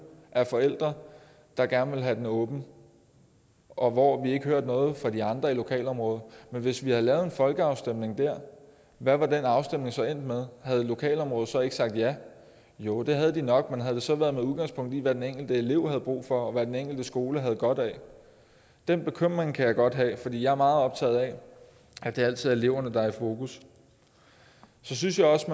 af forældre der gerne ville have den åben og hvor vi ikke hørte noget fra de andre i lokalområdet men hvis vi havde lavet en folkeafstemning der hvad var den afstemning så endt med havde lokalområdet så ikke sagt ja jo det havde de nok men havde det så været med udgangspunkt i hvad den enkelte elev havde brug for og hvad den enkelte skole havde godt af den bekymring kan jeg godt have fordi jeg er meget optaget af at det altid er eleverne der er i fokus så synes jeg også